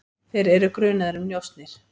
Þeir eru grunaðir um njósnir.